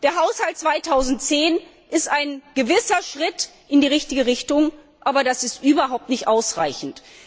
Der Haushalt 2010 ist ein gewisser Schritt in die richtige Richtung, aber das ist überhaupt nicht ausreichend!